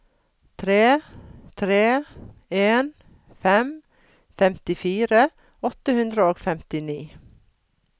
tre tre en fem femtifire åtte hundre og femtini